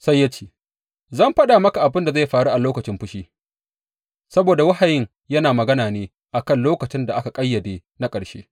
Sai ya ce, Zan faɗa maka abin da zai faru a lokacin fushi, saboda wahayin yana magana ne a kan lokacin da aka ƙayyade na ƙarshe.